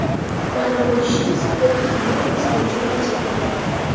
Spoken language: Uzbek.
Ma’lum bo‘lishicha, super qahramon o‘z burchini bajargan.